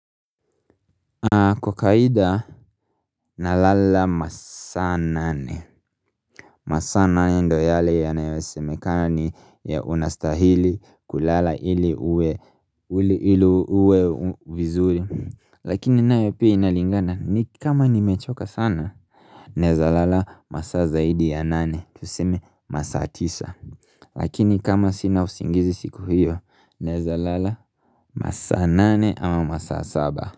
Kwa kawaida nalala masaa nane masaa nane ndio yale yanayosemeka ni unastahili kulala ili uwe vizuri Lakini nae pia inalingana kama nimechoka sana Naeza lala masaa zaidi ya nane tuseme masaa tisa Lakini kama sina usingizi siku hiyo naeza lala masaa nane ama masaa saba.